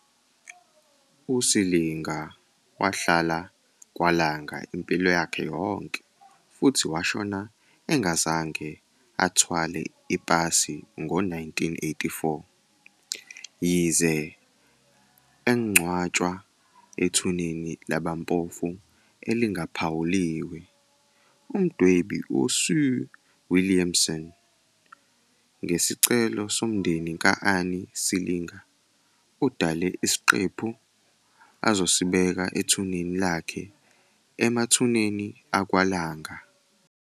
USilinga wahlala kwaLanga impilo yakhe yonke futhi washona engazange athwale ipasi ngo-1984. Yize angcwatshwa ethuneni labampofu elingaphawuliwe, umdwebi u- Sue Williamson, ngesicelo somndeni ka-Annie Silinga, udale isiqephu azosibeka ethuneni lakhe emathuneni akwaLanga.